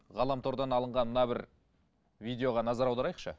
ғаламтордан алынған мына бір видеоға назар аударайықшы